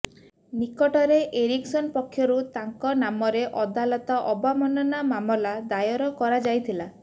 ନିକଟରେ ଏରିକ୍ସନ ପକ୍ଷରୁ ତାଙ୍କ ନାମରେ ଅଦାଲତ ଅବମାନନା ମାମଲା ଦାୟର କରାଯାଇଥିଲା